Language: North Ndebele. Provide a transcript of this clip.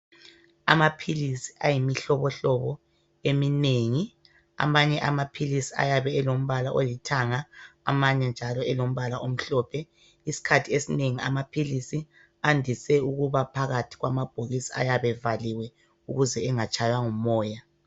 Amaphilisi ayimihlobohlobo, eminengi. Amanye amaphilisi ayabe elombala olithanga. Amanye njalo elombala omhlophe. Isikhathi esinengi amaphilisi, andise ukuba phakathi kwamabhokisi, ayabe evaliwe. Ukuze angatshaywa ngumoya.